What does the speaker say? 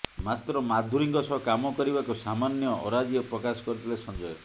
ମାତ୍ର ମାଧୁରୀଙ୍କ ସହ କାମ କରିବାକୁ ସାମାନ୍ୟ ଅରାଜି ପ୍ରକାଶ କରିଥିଲେ ସଞ୍ଜୟ